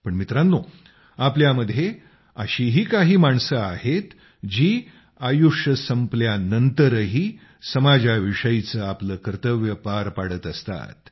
पण मित्रांनो आपल्यामध्ये अशीही काही माणसे आहेत जी आयुष्य संपल्यानंतरही समाजाविषयीचे आपले कर्तव्य पार पाडत असतात